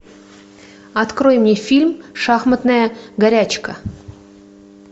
открой мне фильм шахматная горячка